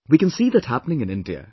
We can see that happening in India